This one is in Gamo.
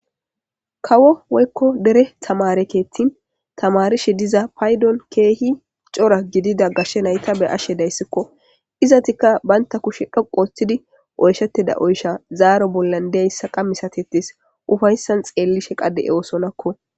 Kawo woykko dere tamare keettin tamarishe diza paydon keehi cora gidida gashe nayta be7ashe dayssikko. Izatikka bantta kushe dhoqu ooththidi oyshetida oysha zaaro bollan deyssa qa misatetes ufayssan xeellishe qa de7oosonakko.